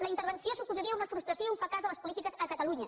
la intervenció suposaria una frustració i un fracàs de les polítiques a catalunya